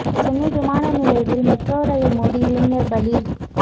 சென்னை விமான நிலையத்தில் metro rail மோதி இளைஞர் பலி